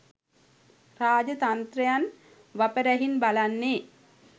රාජ්‍යතන්ත්‍රයන් වපරැහින් බලන්නේ